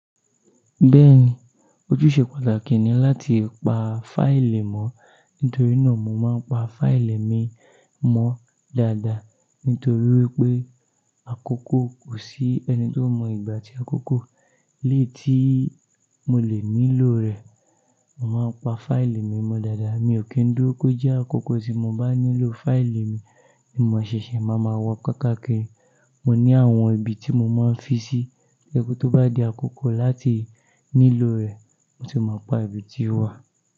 Bẹ́ẹ̀ni, ojúṣe pàtàkì ni láti pa fáílì mọ́, nítorí náà mo máa ń pa fáílì mi mọ́ dáadáa. Nítorí wípé àkókò kò sí ẹni tó mọ ìgbà àti àkókò eléyìí tí mo lè nílò rẹ̀. Mo máa ń pa fáílì mi mọ́ dáadáa, mi ò kì ń dúró kó jẹ́ àkókò tí mo bá nílò fáílì mi ni mo ṣẹ̀ṣẹ̀ máa ma wa kákà kiri. Mo ní àwọn ibi tí mo máa ń fi sí, tó jẹ́ pé, tó bá di àkókò láti nílò rẹ̀ mo ti mọ apá ibi tí ó wà.